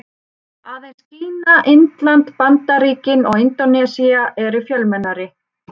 Aðeins Kína, Indland, Bandaríkin og Indónesía eru fjölmennari.